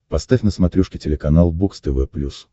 поставь на смотрешке телеканал бокс тв плюс